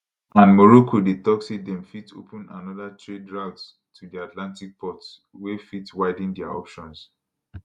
and morocco dey tok say dem fit open anoda trade route to dia atlantic ports wey fit widen dia options